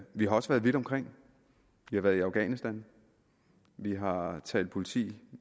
vi har også været vidt omkring vi har været i afghanistan vi har talt politi